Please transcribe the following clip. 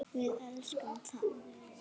Við elskum þá.